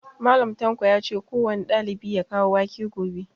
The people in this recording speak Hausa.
Mallam tanko yace kowane ɗalibi ya kawo wake gobe